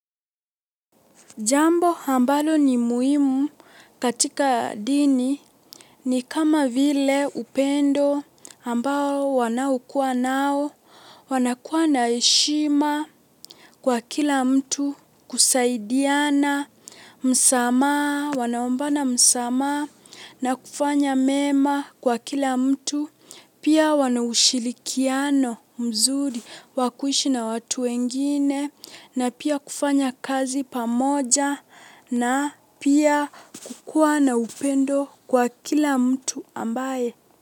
Jambo ambalo ni muhimu katika dini ni kama vile upendo ambao wanaokuwa nao, wanakuwa na heshima kwa kila mtu, kusaidiana, msamaha, wanaombana msamaha na kufanya mema kwa kila mtu. Pia wana ushirikiano mzuri wa kuishi na watu wengine na pia kufanya kazi pamoja na pia kukuwa na upendo kwa kila mtu ambaye.